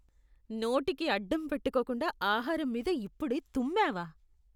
నోటికి అడ్డం పెట్టుకోకుండా ఆహారం మీద ఇప్పుడే తుమ్మావా?